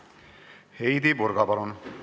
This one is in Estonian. Heidy Purga, palun!